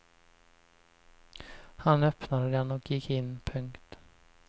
Han öppnade den och gick in. punkt